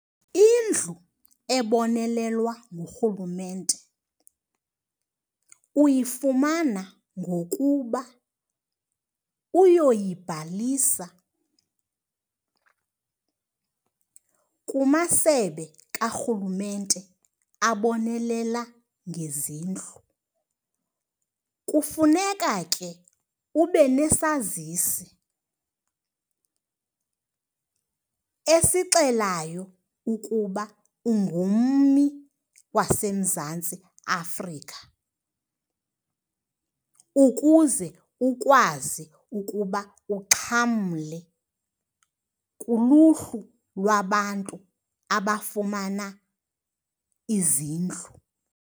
Indlu ebonelelwa ngurhulumente uyifumana ngokuba uyoyibhalisa kumasebe karhulumente abonelela ngezindlu. Kufuneka ke ube nesazisi esixelayo ukuba ungummi waseMzantsi Afrika ukuze ukwazi ukuba uxhamle kuluhlu lwabantu abafumana izindlu.